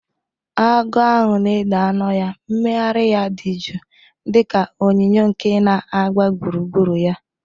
Agụ ahụ na-ede anu ya, mmegharị ya dị jụụ dị ka onyinyo nke na-agba gburugburu ya.